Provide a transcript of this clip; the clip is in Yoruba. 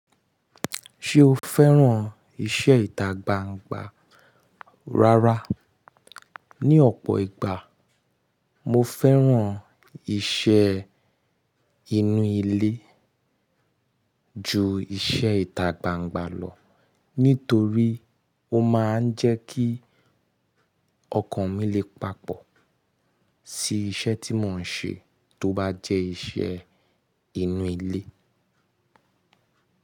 Ṣé o fẹ́ràn iṣẹ́ ìtagbangba rárá? Ni ọ̀pọ̀ ìgbà, mo fẹ́ràn iṣẹ́ inú ilé ju iṣẹ́ ìtagbangba lọ nítorí ó máa ń jẹ́ kí ọkàn mi lè papọ̀ sí iṣẹ́ tí mò ń ṣe tó bá jẹ́ iṣẹ́ inú ilé.